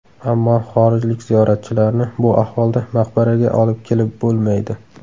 Ammo xorijlik ziyoratchilarni bu ahvolda maqbaraga olib kelib bo‘lmaydi.